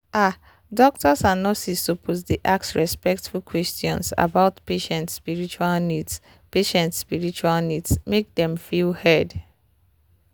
ah doctors and nurses suppose dey ask respectful questions about patient spiritual needs patient spiritual needs make dem feel heard.